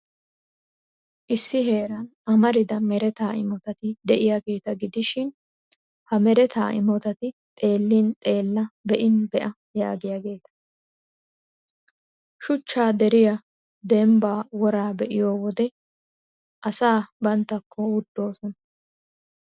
Issi heeran amarida mereta imotati de'iyaageeta gidishin, ha mereta imotati xeellin xeella, be'in be'a giyaageeta. Shuchchaa deriyaa, dembbaa woraa be'iyo wode, asaa banttakko wuttoosona.